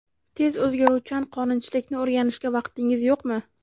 Tez o‘zgaruvchan qonunchilikni o‘rganishga vaqtingiz yo‘qmi?